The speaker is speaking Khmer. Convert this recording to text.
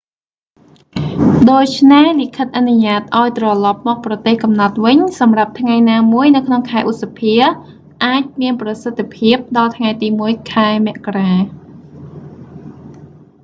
ដូច្នេះ លិខិតអនុញ្ញាតិឱ្យត្រឡប់មកប្រទេសកំណើតវិញ សម្រាប់ថ្ងៃណាមួយនៅក្នុងខែឧសភា អាចមានប្រសិទ្ធភាពដល់ថ្ងៃទី 1 ខែមករា